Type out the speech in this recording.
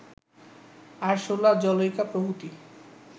আরসুলা জলৌকা প্রভৃতি